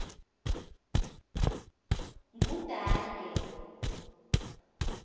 ngudange